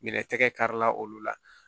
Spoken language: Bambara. Minɛ tɛgɛ kari la olu la